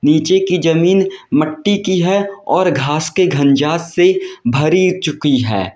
नीचे की जमीन मिट्टी की है और घास के घंजार से भरी चुकी है।